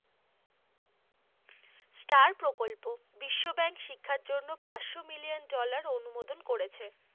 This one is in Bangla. স্টার প্রকল্প, বিশ্ব bank শিক্ষার জন্য পাঁচশো মিলিয়ন dollar অনুমোদন করেছে।